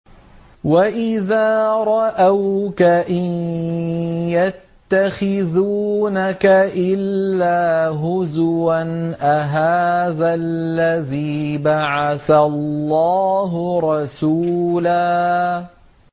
وَإِذَا رَأَوْكَ إِن يَتَّخِذُونَكَ إِلَّا هُزُوًا أَهَٰذَا الَّذِي بَعَثَ اللَّهُ رَسُولًا